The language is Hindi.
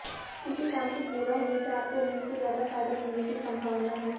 किसी काम के पूरे होने से आपको उम्मीद से ज्यादा फायदा मिलने की संभावना है